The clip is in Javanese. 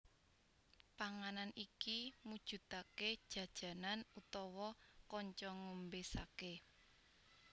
Panganan iki mujudake jajanan utawa kanca ngombe sake